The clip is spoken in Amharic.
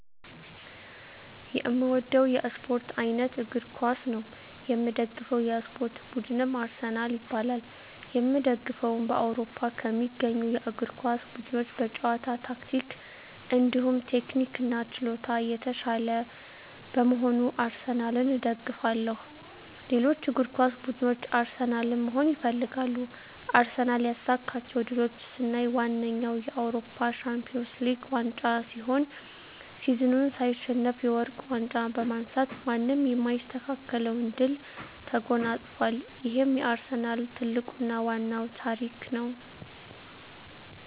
የእምወደዉ የእስፖርት አይነት እግር ኳስ ነዉ። የምደግፈዉ የእስፖርት ቡድንም አርሰናል ይባላል። የእምደግፈዉም በአዉሮፖ ከሚገኙ የእግር ኳስ ቡድኖች በጨዋታ ታክቲክ እንዲሁም ቴክኒክና ችሎታ የታሻለ በመሆኑ አርሰናልን እደግፋለሁ። ሌሎች እግር ኳስ ብድኖች አርሰናልን መሆን ይፈልጋሉ። አርሰናል ያሳካቸዉ ድሎች ስናይ ዋነኛዉ የአዉሮፖ ሻንፒወንስ ሊግ ዋንጫ ሲሆን ሲዝኑን ሳይሸነፍ የወርቅ ዋንጫ በማንሳት ማንም የማይስተካከለዉን ድል ተጎናፅፋል ይሄም የአርሰናል ትልቁና ዋናዉ ታሪክ ነዉ።